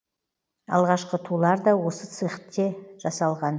алғашқы тулар да осы цехте жасалған